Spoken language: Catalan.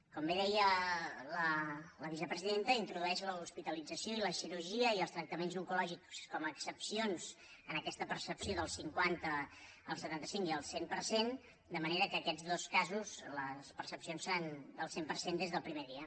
com bé deia la vicepresidenta introdueix l’hospitalització i la cirurgia i els tractaments oncològics com a excepcions en aquesta percepció del cinquanta el setanta cinc i el cent per cent de manera que en aquests dos casos les percepcions seran del cent per cent des del primer dia